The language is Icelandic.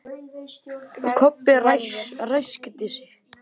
Kobbi ræskti sig.